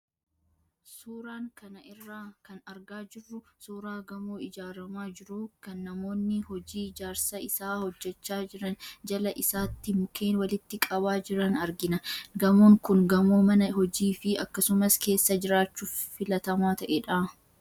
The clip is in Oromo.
Suuraan kana irraa kan argaa jirru, suuraa gamoo ijaaramaa jiruu, kan kan namoonni hojii ijaarsa isaa hojjechaa jiran jala isaatti mukeen walitti qabaa jiran argina. Gamoon kun, gamoo mana hojii fi akkasumas keessa jiraachuuf filatamaa ta'edha.